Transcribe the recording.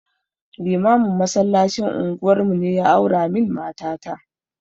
Limamin masallacin unguwar mu ne ya aura min mata ta